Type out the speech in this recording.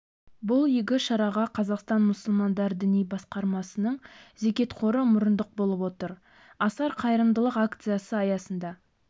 бұл игі шараға қазақстан мұсылмандар діни басқармасының зекет қоры мұрындық болып отыр асар қайырымдылық акциясы аясында